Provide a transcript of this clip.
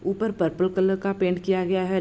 ऊपर purple colour का paint किया गया है।